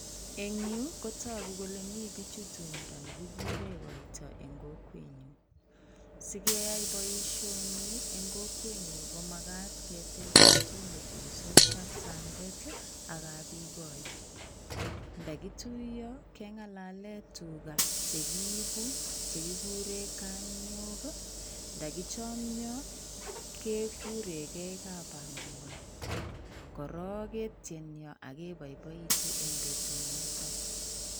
Eng yuu kotokuu kolee mibichu tumndo nekikuren koito en kokwenyun, sikeyai boishoni en kokwenyun komakat ketil betut netuitos kapsandet ak kapyukoi, ndakituyo keng'alalen tukaa chekiibu chekikuren kaniok, ndokichomio kekurenkee kamuai, korok ketieni akeboiboitun en betunoton.